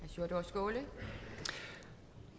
for det